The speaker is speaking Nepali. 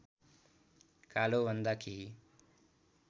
कालोभन्दा केही